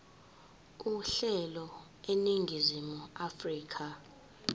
uhlelo eningizimu afrika